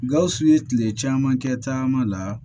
Gawusu ye tile caman kɛ taama la